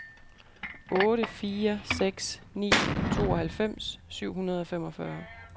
otte fire seks ni tooghalvfems syv hundrede og femogfyrre